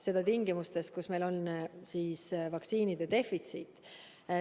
Seda tingimustes, kus meil on vaktsiinide defitsiit.